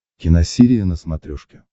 киносерия на смотрешке